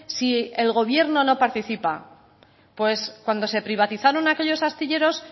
si el gobierno no participa pues cuando se privatizaron aquellos astilleros